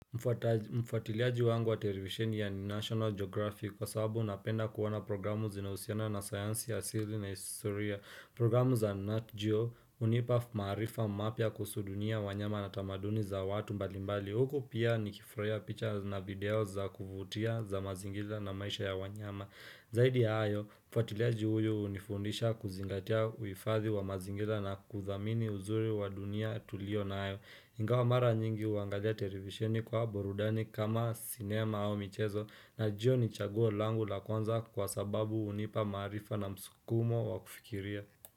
Mfatiliaji wangu wa television ya ni National Geographic kwa sababu napenda kuana programu zinazosiana na science asili na historia programu za Nat Geo hunipa maarifa mapya kuhusu dunia wanyama na tamaduni za watu mbalimbali. Huku pia nikifurahiya picha na videos za kuvutia za mazingira na maisha ya wanyama. Zaidi ya hayo, mfatiliaji huyu hunifundisha kuzingatia uhifathi wa mazingira na kuthamini uzuri wa dunia tulio nayo. Ingawa mara nyingi huangalia televisioni kwa borudani kama cinema au michezo najua ni chaguo langu la kwanza kwa sababu hunipa maarifa na msukumo wa kufikiria.